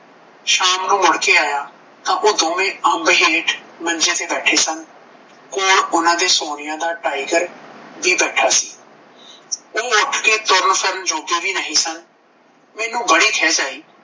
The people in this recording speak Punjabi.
ਸ਼ਾਮ ਨੂੰ ਮੁੜ ਕੇ ਆਇਆ ਤਾਂ ਓਹ ਦੋਵੇਂ ਅਂਬ ਹੇਠ ਮੰਜੇ ਤੇ ਬੈਠੇ ਸਨ ਕੋਲ ਉਹਦੇ ਸੋਨੀਆ ਦਾ ਟਾਈਗਰ ਵੀ ਬੈਠਾ ਸੀ ਓਹ ਉਠ ਕੇ ਤੁਰਨ ਫਿਰਨ ਜੋਗੇ ਵੀ ਨਹੀਂ ਸਨ ਮੈਨੂੰ ਬਫ਼ਦੀ ਖਿਝ ਆਈ